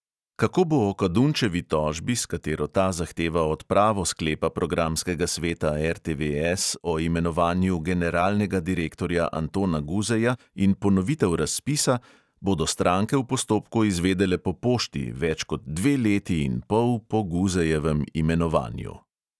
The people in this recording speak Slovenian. Kako bo o kadunčevi tožbi, s katero ta zahteva odpravo sklepa programskega sveta RTVS o imenovanju generalnega direktorja antona guzeja in ponovitev razpisa, bodo stranke v postopku izvedele po pošti, več kot dve leti in pol po guzejevem imenovanju.